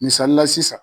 Misalila sisan